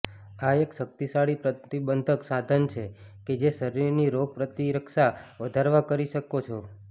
આ એક શક્તિશાળી પ્રતિબંધક સાધન છે કે જે શરીરની રોગ પ્રતિરક્ષા વધારવા કરી શકો છો